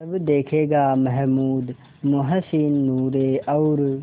तब देखेगा महमूद मोहसिन नूरे और